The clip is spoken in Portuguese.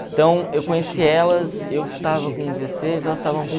Então, eu conheci elas, eu estava com dezesseis, elas estavam com